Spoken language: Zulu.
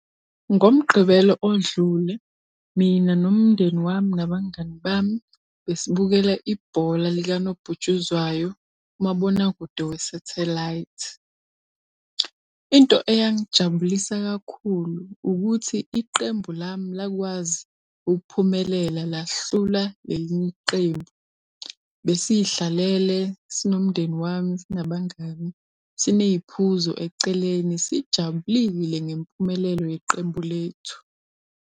NgoMgqibelo odlule, mina nomndeni wami nabangani bami besibukele ibhola likanobhutshuzwayo kumabonakude we-satellite. Into eyangijabulisa kakhulu ukuthi iqembu lami lakwazi ukuphumelela lahlula le linye iqembu. Besiy'hlalele sinomndeni wami, sinabangani siney'phuzo eceleni sijabulile ngempumelelo yeqembu lethu.